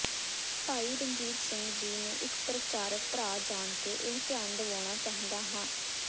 ਭਾਈ ਰਣਜੀਤ ਸਿੰਘ ਜੀ ਨੂੰ ਇੱਕ ਪ੍ਰਚਾਰਕ ਭਰਾ ਜਾਣਕੇ ਇਹ ਧਿਆਨ ਦਿਵਾਉਣਾ ਚਾਹੁੰਦਾ ਹਾਂ